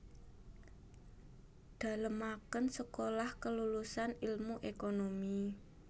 Dalemaken Sekolah Kelulusan Ilmu Ekonomi